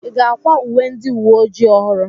Ị ga-akwa uwe ndị uwe ojii ọhụrụ?